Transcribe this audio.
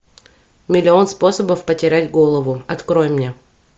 миллион способов потерять голову открой мне